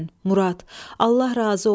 Murad, Allah razı olsun.